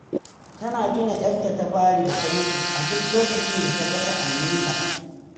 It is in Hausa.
Tana tuna 'yarta ta fari da mutu a duk lokacin ta ga sa'anninita